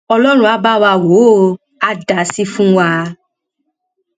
ọlọrun á bá wa wò ó àá dá sí fún wa